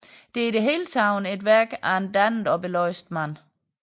Det er i det hele taget et værk af en dannet og belæst mand